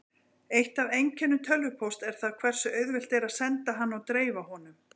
Eitt af einkennum tölvupósts er það hversu auðvelt er að senda hann og dreifa honum.